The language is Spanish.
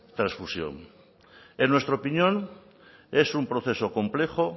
trasfusión en nuestra opinión es un proceso complejo